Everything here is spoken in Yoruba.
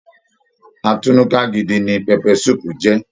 Atúnúká gidi ní pẹpẹ sùúpù jẹ.